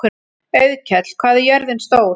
Auðkell, hvað er jörðin stór?